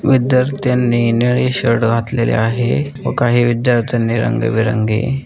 विध्यार्थ्यानी निळे शर्ट घातलेले आहे व काही विध्यार्थ्यानी रंग बिरंगी.